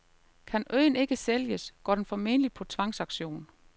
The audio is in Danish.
Kan øen ikke sælges, går den formentlig på tvangsauktion.